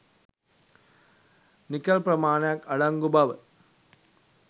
nickel ප්‍රමාණයක් අඩංගු බව